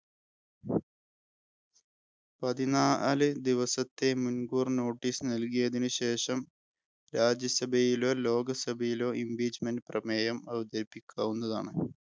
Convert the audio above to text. പതിനാലു ദിവസത്തെ മുൻ‌കൂർ notice നൽകിയതിന് ശേഷം രാജ്യസഭയിലോ, ലോകസഭയിലോ Impeachement പ്രമേയം അവതരിപ്പിക്കാവുന്നതാണ്.